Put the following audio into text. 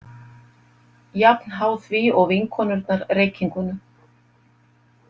Jafn háð því og vinkonurnar reykingunum.